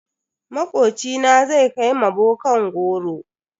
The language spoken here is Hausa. Makocina zai kai ma bokan goro.